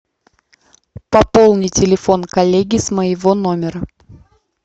пополни телефон коллеги с моего номера